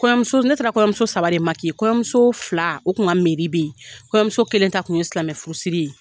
Kɔɲɔmuso ne taara kɔɲɔmuso saba de kɔɲɔmuso fila o kun ka be in kɔɲɔmuso kelen ta kun ye silamɛ furusiri ye.